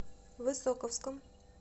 высоковском